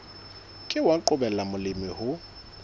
ke wa qobella molemi ho